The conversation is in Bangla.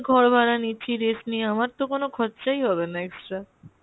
ঘর ভাড়া নিচ্ছি rest নিয়ে, আমার তো কোনো খরচাই হবেনা extra।